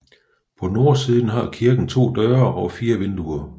På nordsiden har kirken to døre og fire vinduer